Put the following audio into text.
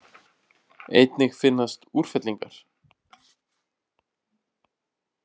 Einnig finnast úrfellingar.